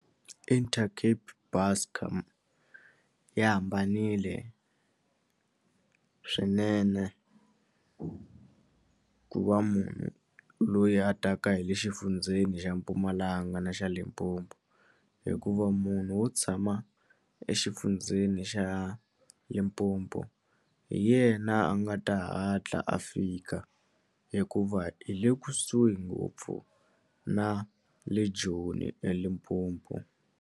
Intercape Buscor yi hambanile swinene ku ku va munhu loyi a taka hi le exifundzeni xa Mpumalanga na xa Limpopo hikuva munhu wo tshama exifundzeni xa Limpopo hi yena a nga ta hatla a fika hikuva hi le kusuhi ngopfu na le Joni eLimpopo.